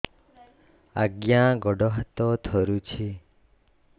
ଆଜ୍ଞା ଗୋଡ଼ ହାତ ଥରୁଛି